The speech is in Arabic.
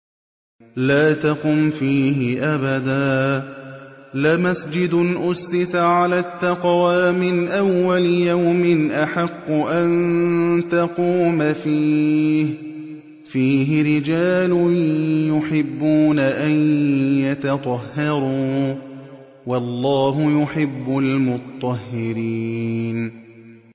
لَا تَقُمْ فِيهِ أَبَدًا ۚ لَّمَسْجِدٌ أُسِّسَ عَلَى التَّقْوَىٰ مِنْ أَوَّلِ يَوْمٍ أَحَقُّ أَن تَقُومَ فِيهِ ۚ فِيهِ رِجَالٌ يُحِبُّونَ أَن يَتَطَهَّرُوا ۚ وَاللَّهُ يُحِبُّ الْمُطَّهِّرِينَ